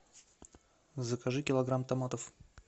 закажи килограмм томатов